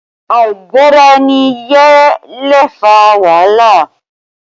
Àìgbọ́ra-ẹni-yé lè fa wàhálà